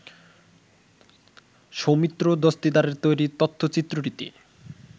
সৌমিত্র দস্তিদারের তৈরি তথ্যচিত্রটিতে